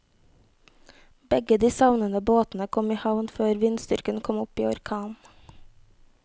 Begge de savnede båtene kom i havn før vindstyrken kom opp i orkan.